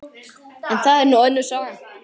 En það er nú önnur saga.